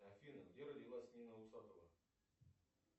афина где родилась нина усатова